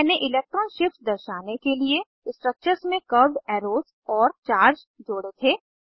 मैंने electron shifts दर्शाने के लिए स्ट्रक्चर्स में कर्व्ड एरोज़ और चार्ज जोड़े थे